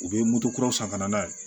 U bɛ moto kura san ka na n'a ye